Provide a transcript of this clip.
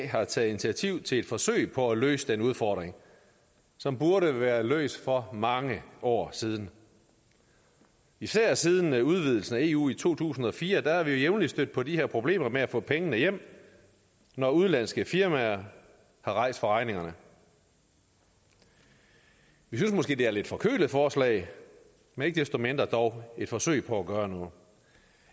har taget initiativ til et forsøg på at løse den udfordring som burde være løst for mange år siden især siden udvidelsen af eu i to tusind og fire er vi jo jævnligt stødt på de her problemer med at få pengene hjem når udenlandske firmaer er rejst fra regningerne vi synes måske det er et lidt forkølet forslag men ikke desto mindre dog et forsøg på at gøre noget